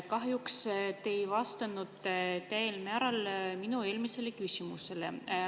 Kahjuks te ei vastanud minu eelmisele küsimusele.